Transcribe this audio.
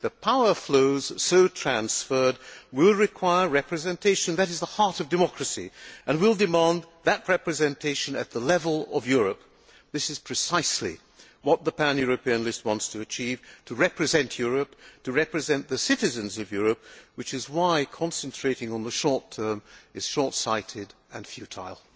The power flows so transferred will require representation that is the heart of democracy and will demand that representation at European level. This is precisely what the pan European list wants to achieve to represent Europe and to represent the citizens of Europe, which is why concentrating on the short term is short sighted and futile.